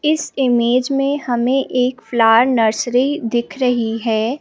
इस इमेज में हमें एक प्लांट नर्सरी दिख रही है।